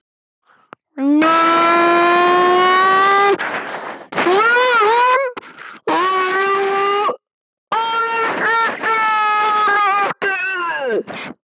spurði hann, varlega til að æsa hana ekki upp.